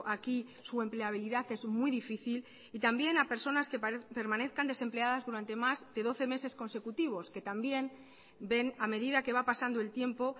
aquí su empleabilidad es muy difícil y también a personas que permanezcan desempleadas durante más de doce meses consecutivos que también ven a medida que va pasando el tiempo